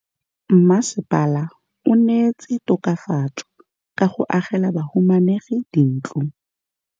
Mmasepala o neetse tokafatsô ka go agela bahumanegi dintlo.